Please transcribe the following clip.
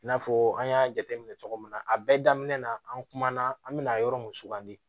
I n'a fɔ an y'a jateminɛ cogo min na a bɛɛ daminɛ na an kumana an bɛna yɔrɔ mun suganti